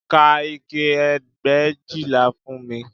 Ka ike ẹgbẹ̀éjìlá fún mi